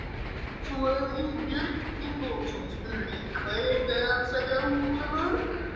Svo að Björn Ingólfsson spurði: Hvað ertu að afsaka, Ólafur?